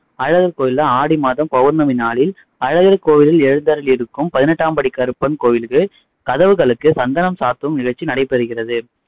அழகர் கோயில்ல ஆடி மாதம் பௌர்ணமி நாளில் அழகர் கோயிலில் எழுந்தருளி இருக்கும் பதினெட்டாம் படி கருப்பன் கோவிலுக்கு கதவுகளுக்கு சந்தனம் சாத்தும் நிகழ்ச்சி நடைபெறுகிறது.